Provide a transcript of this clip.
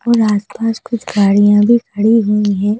और आसपास कुछ गाड़ियां भी खड़ी हुई हैं।